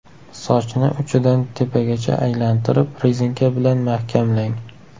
Sochni uchidan tepagacha aylantirib, rezinka bilan mahkamlang.